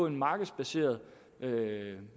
en markedsbaseret